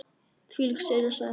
Þvílík sería sagði hún.